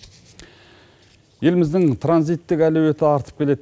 еліміздің транзиттік әлеуеті артып келеді